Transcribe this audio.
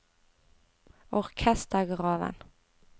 orkestergraven